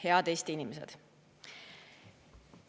Head Eesti inimesed!